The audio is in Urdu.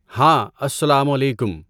ہاں، السّلام علیکم!